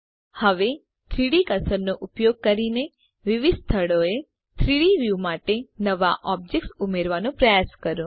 હવે 3ડી કર્સરનો ઉપયોગ કરીને વિવિધ સ્થળોએ 3ડી વ્યુ માટે નવા ઑબ્જેક્ટ્સ ઉમેર્વાનો પ્રયાસ કરો